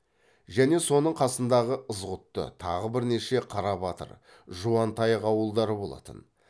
және соның қасындағы ызғұтты тағы бірнеше қарабатыр жуантаяқ ауылдары болатын